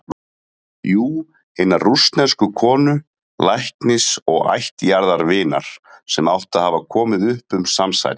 Jú- hinnar rússnesku konu, læknis og ættjarðarvinar, sem átti að hafa komið upp um samsærið.